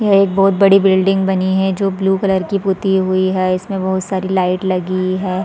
यह एक बहोत बड़ी बिल्डिंग बनी है जो ब्लू कलर की पुती हुई है इसमें बहुत सारी लाइट लगी हैं ।